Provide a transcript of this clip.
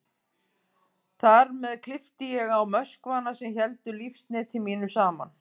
Þar með klippti ég á möskvana sem héldu lífsneti mínu saman.